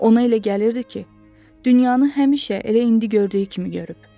Ona elə gəlirdi ki, dünyanı həmişə, elə indi gördüyü kimi görüb.